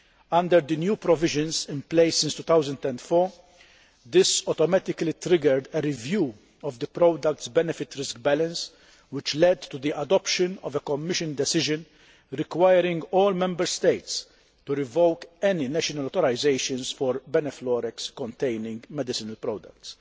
Under the new provisions in place since 2004, this automatically triggered a review of the product's benefit risk balance, which led to the adoption of a Commission decision requiring all Member States to revoke any national authorisations for benfluorex containing medicinal products.